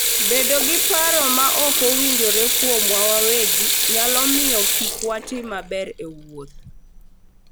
Bedo gi paro maok owinjore kuomwa wawegi nyalo miyo kik watim maber e wuoth.